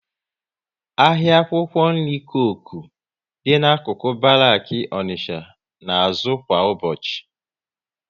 Ahịa akwụkwọ nri Coku dị n'akụkụ Baraki Onicha na azụ kwa ụbọchị